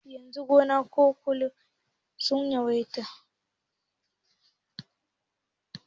Yanzu shagunan kwalliya sun yawaita.